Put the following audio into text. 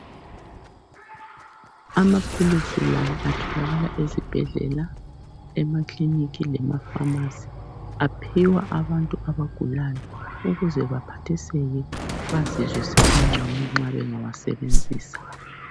Amaphilisi la atholakala ezibhedlela, emakilinika lemafamasi . Aphiwa abantu abagulayo ukuze baphathiseke bazizwe sebengcono nxa bengawasebenzisa.